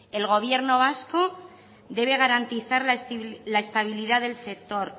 el gobierno vasco debe garantizar la estabilidad del sector